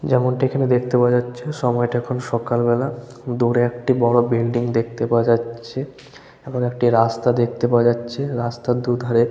'' যেমনটি এখানে দেখতে পাওয়া যাচ্ছে সময়টা এখন সকাল বেলা। দূরে একটি বড় বিল্ডিং দেখতে পাওয়া যাচ্ছে এবং একটি রাস্তা দেখতে পাওয়া যাচ্ছে রাস্তার দু''''ধারে-- ''